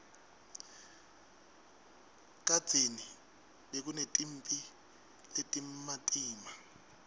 kadzeni bekunetimphi letimatima